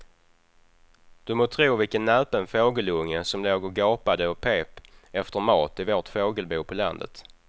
Du må tro vilken näpen fågelunge som låg och gapade och pep efter mat i vårt fågelbo på landet.